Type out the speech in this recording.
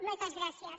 moltes gràcies